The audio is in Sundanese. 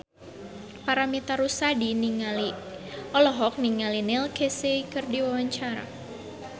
Paramitha Rusady olohok ningali Neil Casey keur diwawancara